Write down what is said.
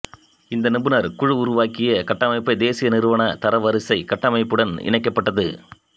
இந்த நிபுணர் குழு உருவாக்கிய கட்டமைப்பைத் தேசிய நிறுவன தரவரிசை கட்டமைப்புடன் இணைக்கப்பட்டது